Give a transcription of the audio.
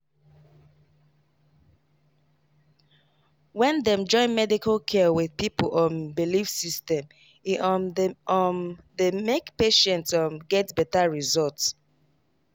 wait small — when dem join medical care with people um belief system e um dey um dey make patient um get better result.